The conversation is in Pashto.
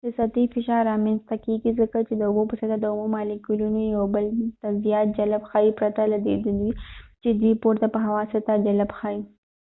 د سطحې فشار رامینځته کیږي ځکه چې د اوبو په سطح د اوبو مالیکولونه یو بل ته زیات جلب ښئیي پرته له دی چی دوئ پورته په هوا سطح جلب ښئیي